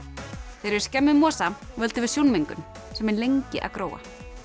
þegar við skemmum mosa völdum við sjónmengun sem er lengi að gróa